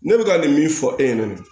Ne bɛ ka nin min fɔ e ɲɛna